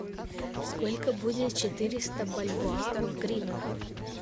сколько будет четыреста бальбоа в гривнах